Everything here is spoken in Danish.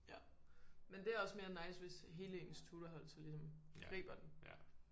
Ja men det også mere nice hvis hele ens tutorhold så ligesom griber den